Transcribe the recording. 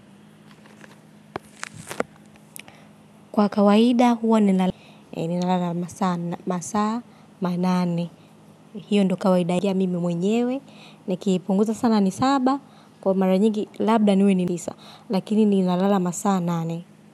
Kwa kawaida huwa ninalala masaa, masaa, manane, hiyo ndio kawaida ya mimi mwenyewe, nikipunguta sana ni saba, kwa mara nyigi labda niwe ni lisa, lakini ninalala masaa, nane.